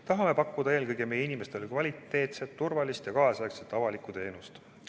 Tahame pakkuda eelkõige meie inimestele kvaliteetset, turvalist ja kaasaegset avalikku teenust.